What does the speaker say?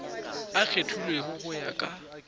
a kgethilwego go ya ka